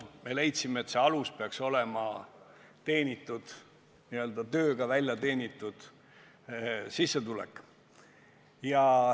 Me leidsime, et alus peaks olema tehtud tööga teenitud sissetulek.